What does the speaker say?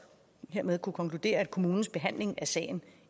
hermed kunne konkludere at kommunens behandling af sagen